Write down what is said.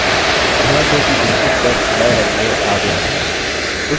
ध्यान दें कि इनपुट टेक्स्ट नये रंग में आ गया है